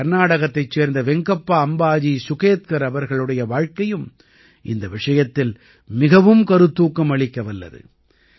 கர்நாடகத்தைச் சேர்ந்த வெங்கப்பா அம்பாஜி சுகேத்கர் அவர்களுடைய வாழ்க்கையும் இந்த விஷயத்தில் மிகவும் கருத்தூக்கம் அளிக்கவல்லது